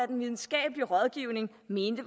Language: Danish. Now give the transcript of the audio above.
den videnskabelige rådgivning mente